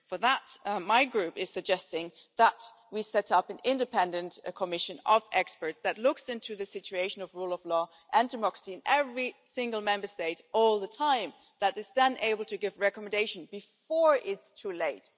For that, my group is suggesting that we set up an independent commission of experts to look into the situation of the rule of law and democracy in every single Member State all the time and is then able to give recommendations before it's too late.